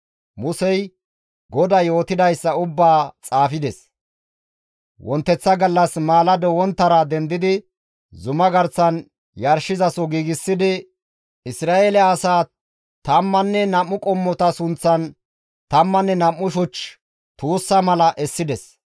Musey GODAY yootidayssa ubbaa xaafides. Wonteththa gallas maalado wonttara dendidi zumaa garsan yarshizaso giigsidi Isra7eele asaa tammanne nam7u qommota sunththan tammanne nam7u shuch tuussa mala essides.